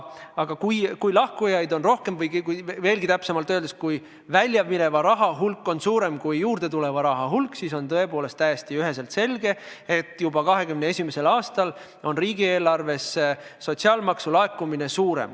Aga kui lahkujaid on rohkem või – veelgi täpsemalt öeldes – kui väljamineva raha hulk on suurem kui juurdetuleva raha hulk, siis on tõepoolest täiesti üheselt selge, et juba 2021. aastal on ka riigieelarvesse laekuva sotsiaalmaksu hulk suurem.